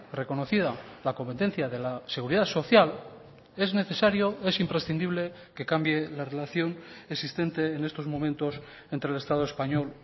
reconocida la competencia de la seguridad social es necesario es imprescindible que cambie la relación existente en estos momentos entre el estado español